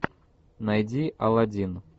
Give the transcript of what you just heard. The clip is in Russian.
найди аладдин